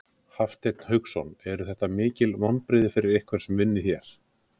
Hafsteinn Hauksson: Eru þetta mikil vonbrigði fyrir ykkur sem vinnið hér?